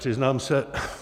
Přiznám se...